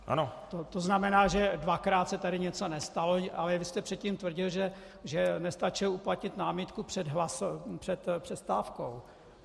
To znamená, že dvakrát se tady něco nestalo, ale vy jste předtím tvrdil, že nestačil uplatnit námitku před přestávkou.